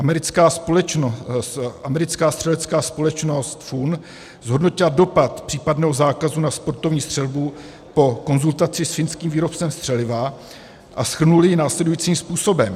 Americká střelecká společnost FUN zhodnotila dopad případného zákazu na sportovní střelbu po konzultaci s finským výrobcem střeliva a shrnuli jej následujícím způsobem: